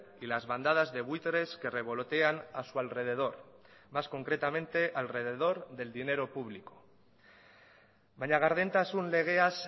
y las bandadas de buitres que revolotean a su alrededor más concretamente alrededor del dinero público baina gardentasun legeaz